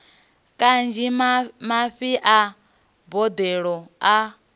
kanzhi mafhi a boḓelo a